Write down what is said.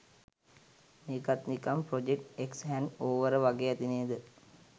මේකත් නිකන් project X hangover වගේ ඇති නේද.